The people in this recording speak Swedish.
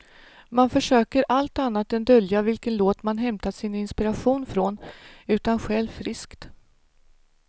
Man försöker allt annat än dölja vilken låt man hämtat sin inspiration från, utan stjäl friskt.